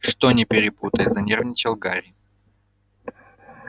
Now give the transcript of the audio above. что не перепутай занервничал гарри